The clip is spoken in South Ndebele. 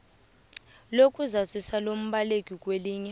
lokuzazisa lombaleki kwelinye